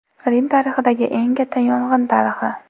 Rim tarixidagi eng katta yong‘in tarixi.